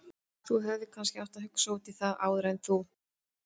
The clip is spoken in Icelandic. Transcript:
Þú hefðir kannski átt að hugsa út í það áður en þú.